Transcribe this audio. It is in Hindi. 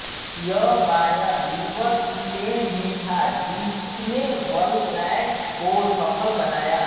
यह बायर लीवरकुसेन ही था जिसने बल्लैक को सफल बनाया